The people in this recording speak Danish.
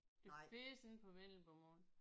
Det findes ikke på vendelbomål